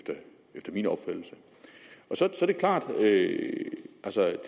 efter min opfattelse så er det klart at